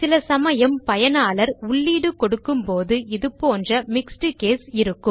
சிலசமயம் பயனாளர் உள்ளீடு கொடுக்கும் போது இதுபோன்ற மிக்ஸ்ட் கேஸ் இருக்கும்